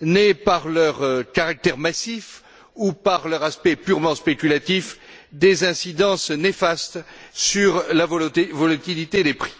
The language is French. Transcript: n'aient, par leur caractère massif ou par leur aspect purement spéculatif, des incidences néfastes sur la volatilité des prix.